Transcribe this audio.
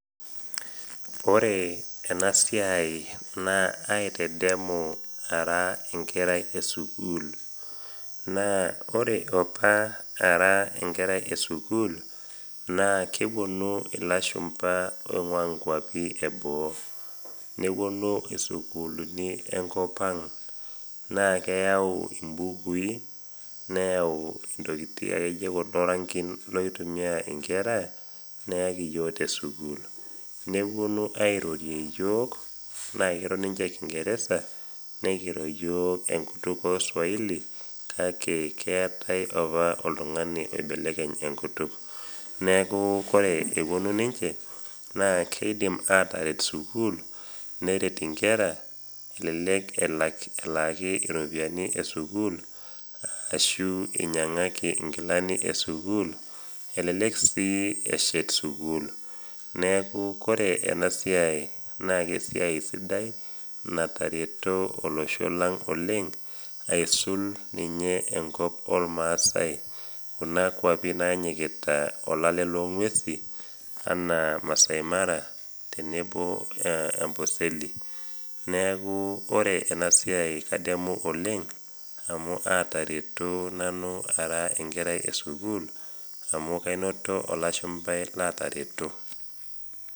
Ore ena siai naa aitadamu ara enkerai esukul naa ore apa ara enkerai esukul naa keponu lashumpa oinguaa enkop eboo ,neponu sukuulini enkopang naa keyau mbukui ,nayau irankin oitumiya nkera tesukul neponu airorie yiok naa kiro ninche kingeresa nikiro yiok swahili kake keetae apa oltungani oibelekeny enkutuk. neeku ore eponu ninche naa kidimi aataret sukul neret nkera ,elelek elaaki ropiyiani esukul ashu einyangaki nkilani esukul ,elelek sii eshet sukul .neeku ore ena siai naa esiai sidai natareto olosho aisul olosho lormasai enaasa ninye Kuna kwapi narishita olale loongwesin anaa maasai mara tenebo ooamboseli neeku ore ena siai kadamu oleng amu aatareto nanu ara enkerai esukul amu kanoto olashumpai laatareto.